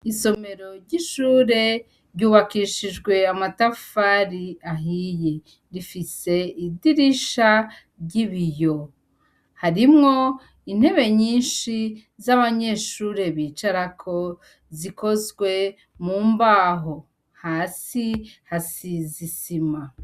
Isomero ry'ishire ryubakishijwe amatafari ahiye, rifise idirisha ry'ibiyo, harimwo intebe nyinshi z'abanyeshure bicarako zikozwe mumbaho, hasi hasize isima.